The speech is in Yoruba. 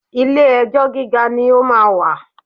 Ilé ẹjọ́ gíga ni ó máa wà